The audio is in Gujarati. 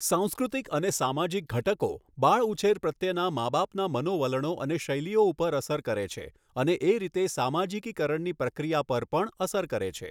સાંસ્કૃતિક અને સામાજિક ધટકો બાળઉછેર પ્રત્યેનાં માબાપનાં મનોવલણો અને શૈલીઓ ઉપર અસર કરે છે અને એ રીતે સામાજિકીકરણની પ્રક્રિયા પર પણ અસર કરે છે.